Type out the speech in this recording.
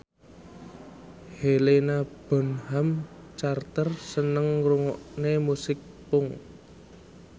Helena Bonham Carter seneng ngrungokne musik punk